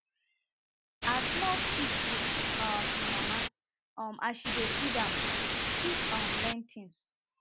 as small pig dey look um e mama um as she dey feed am e dey quick um learn things